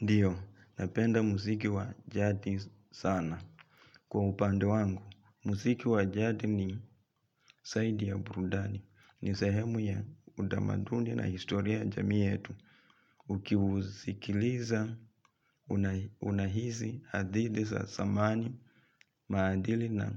Ndio, napenda muziki wa jadi sana. Kwa upande wangu, muziki wa jadi ni zaidi ya burudani. Ni sahemu ya utamaduni na historia ya jamii yetu. Uki usikiliza unahisi hadithi za zamani maadili na